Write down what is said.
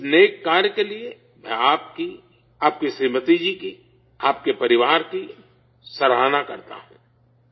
اس نیک کام کے لیے، میں آپ کی، آپ کی شریمتی جی کی، آپ کی فیملی کی تعریف کرتا ہوں